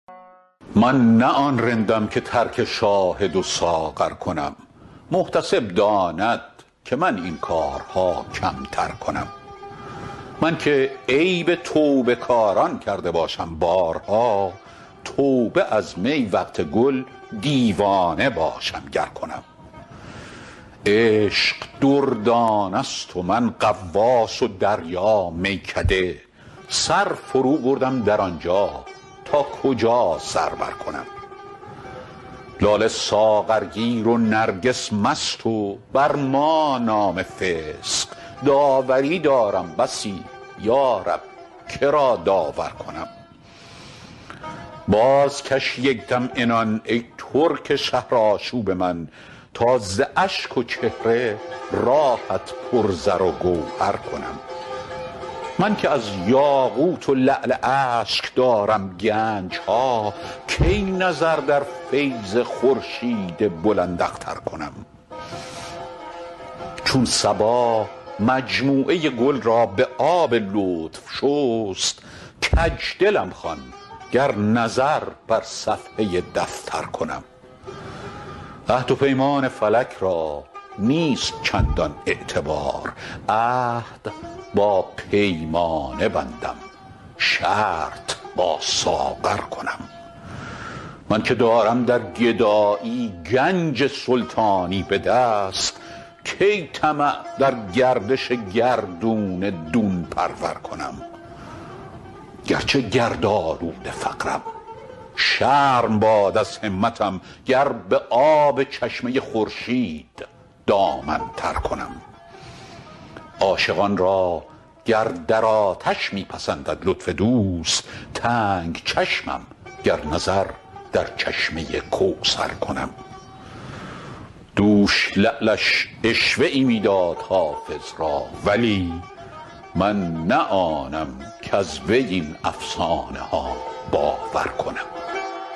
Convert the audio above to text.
من نه آن رندم که ترک شاهد و ساغر کنم محتسب داند که من این کارها کمتر کنم من که عیب توبه کاران کرده باشم بارها توبه از می وقت گل دیوانه باشم گر کنم عشق دردانه ست و من غواص و دریا میکده سر فروبردم در آن جا تا کجا سر برکنم لاله ساغرگیر و نرگس مست و بر ما نام فسق داوری دارم بسی یا رب که را داور کنم بازکش یک دم عنان ای ترک شهرآشوب من تا ز اشک و چهره راهت پر زر و گوهر کنم من که از یاقوت و لعل اشک دارم گنج ها کی نظر در فیض خورشید بلنداختر کنم چون صبا مجموعه گل را به آب لطف شست کج دلم خوان گر نظر بر صفحه دفتر کنم عهد و پیمان فلک را نیست چندان اعتبار عهد با پیمانه بندم شرط با ساغر کنم من که دارم در گدایی گنج سلطانی به دست کی طمع در گردش گردون دون پرور کنم گر چه گردآلود فقرم شرم باد از همتم گر به آب چشمه خورشید دامن تر کنم عاشقان را گر در آتش می پسندد لطف دوست تنگ چشمم گر نظر در چشمه کوثر کنم دوش لعلش عشوه ای می داد حافظ را ولی من نه آنم کز وی این افسانه ها باور کنم